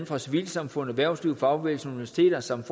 fra civilsamfund erhvervsliv fagbevægelse universiteter samt